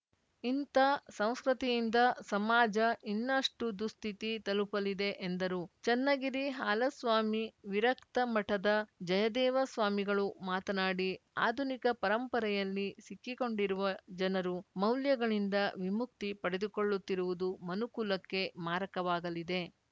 ಇಂತ ಸಂಸ್ಕೃತಿಯಿಂದ ಸಮಾಜ ಇನ್ನಷ್ಟುದುಸ್ಥಿತಿ ತಲುಪಲಿದೆ ಎಂದರು ಚನ್ನಗಿರಿ ಹಾಲಸ್ವಾಮಿ ವಿರಕ್ತ ಮಠದ ಜಯದೇವ ಸ್ವಾಮಿಗಳು ಮಾತನಾಡಿ ಅಧುನಿಕ ಪರಂಪರೆಯಲ್ಲಿ ಸಿಕ್ಕಿಕೊಂಡಿರುವ ಜನರು ಮೌಲ್ಯಗಳಿಂದ ವಿಮುಕ್ತಿ ಪಡೆದುಕೊಳ್ಳುತ್ತಿರುವುದು ಮನುಕುಲಕ್ಕೆ ಮಾರಕವಾಗಲಿದೆ